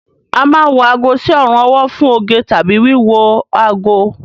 A máa ń wọ ago sí ọrùn ọwọ́ fún oge tàbí wíwo ago